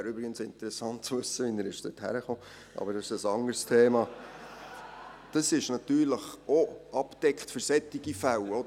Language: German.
Es wäre übrigens interessant zu wissen, wie er dorthin gelangt ist, aber das ist ein anderes Thema.